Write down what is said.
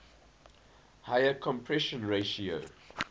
higher compression ratio